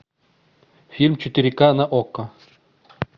фильм четыре ка на окко